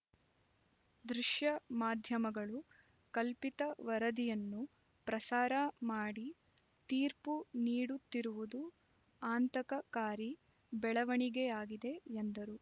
ದೃಶ್ಯ ಮಾಧ್ಯಮಗಳು ಕಲ್ಪಿತ ವರದಿಯನ್ನು ಪ್ರಸಾರ ಮಾಡಿ ತೀರ್ಪು ನೀಡುತ್ತಿರುವುದು ಅಂತಕ ಕಾರಿ ಬೆಳವಣಿಗೆಯಾಗಿದೆ ಎಂದರು